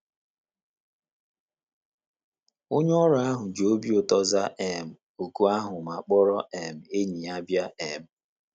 Onye ọrụ ahụ ji obi ụtọ zaa um òkù ahụ ma kpọrọ um enyi ya bịa um.